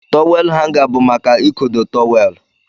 Tọwel hanga bu maka ikodo tọwel.